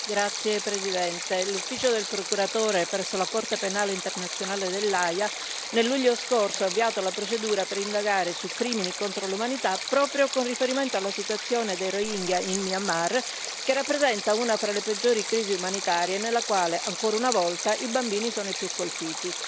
Signor Presidente, onorevoli colleghi, l'ufficio del procuratore presso la Corte penale internazionale dell'Aja nel luglio scorso ha avviato la procedura per indagare su crimini contro l'umanità proprio con riferimento alla situazione dei rohingya in Myanmar, che rappresenta una fra le peggiori crisi umanitarie nella quale, ancora una volta, i bambini sono i più colpiti.